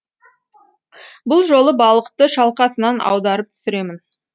бұл жолы балықты шалқасынан аударып түсіремін